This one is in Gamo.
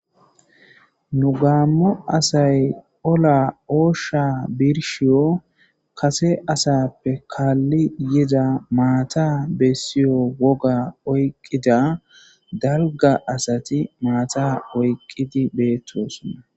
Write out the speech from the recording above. Nu gaammo asay ola oosha birshiyo kase asappe kaalli yida maata bessiyo woga oyqqida darga asati maata oyqqidi beettosonna